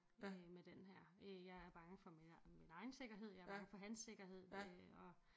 Med med den her øh jeg er bange for min min egen sikkerhed jeg er bange for hans sikkerhed øh og